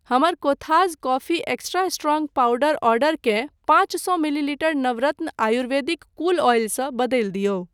हमर Kothas coffee extra strong powder ऑर्डरकेँ पाँच सौ millilitre Navratna Ayurvedic cool oil सँ बदलि दियौ।